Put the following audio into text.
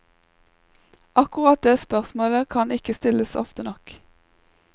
Akkurat det spørsmålet kan ikke stilles ofte nok.